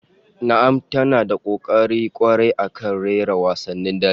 Na'am ta na da kokari kwarai akan rawar wasannin dare